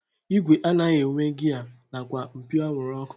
Igwe anaghị enwe giya nakwa mpio anwụrụ ọkụ